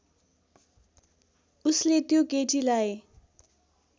उसले त्यो केटीलाई